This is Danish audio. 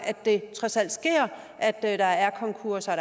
det trods alt sker at der er konkurser og